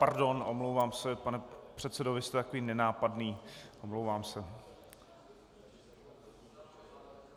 Pardon, omlouvám se, pane předsedo, vy jste takový nenápadný, omlouvám se.